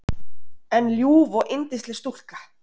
En ljúf og yndisleg stúlka.